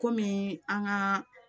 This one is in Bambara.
Kɔmi an ka